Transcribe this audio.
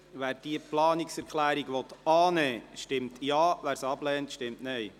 Wer diese Planungserklärung annehmen will, stimmt Ja, wer sie ablehnt, stimmt Nein.